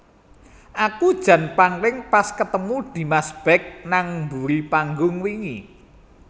Aku jan pangling pas ketemu Dimas Beck nang mburi panggung wingi